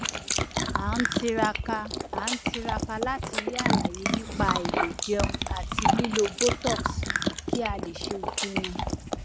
à ń tiraka à ń tiraka láti rí àlàyé nípa àìlèjẹun àti lílo botox kí a lè ṣe ìpinnu